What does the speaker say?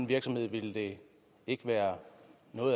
virksomhed ville det ikke være